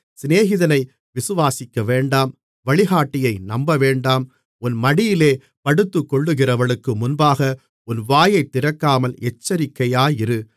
சிநேகிதனை விசுவாசிக்கவேண்டாம் வழிகாட்டியை நம்பவேண்டாம் உன் மடியிலே படுத்துக்கொள்ளுகிறவளுக்கு முன்பாக உன் வாயைத் திறக்காமல் எச்சரிக்கையாயிரு